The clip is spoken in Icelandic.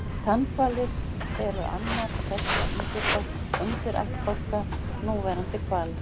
tannhvalir eru annar tveggja undirættbálka núlifandi hvala